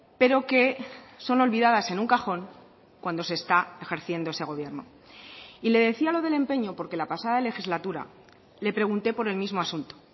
pero que son olvidadas en un cajón cuando se está ejerciendo ese gobierno y le decía lo del empeño porque la pasada legislatura le pregunté por el mismo asunto